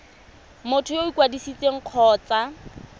motho yo o ikwadisitseng kgotsa